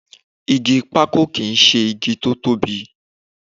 Igi pákò kì í ṣe igi tó tóbi